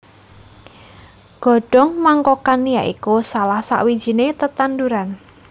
Godhong Mangkokan ya iku salah sawijiné tetanduran